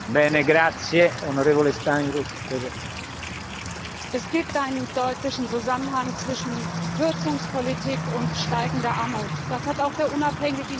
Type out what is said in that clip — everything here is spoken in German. Herr Präsident! Es gibt einen deutlichen Zusammenhang zwischen Kürzungspolitik und steigender Armut. Das hat auch der unabhängige Jahreswachstumsbericht bestätigt.